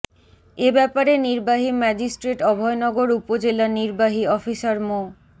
এ ব্যাপারে নির্বাহী ম্যাজিস্ট্রেট অভয়নগর উপজেলা নির্বাহী অফিসার মো